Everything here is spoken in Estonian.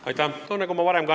Aitäh!